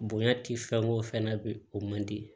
Bonya ti fɛn o fɛn na bi o man di